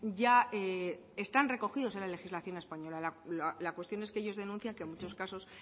ya están recogidos en la legislación española la cuestión es que ellos denuncian que en muchos casos